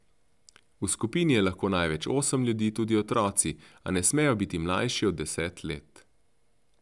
V skupini je lahko največ osem ljudi, tudi otroci, a ne smejo biti mlajši od deset let.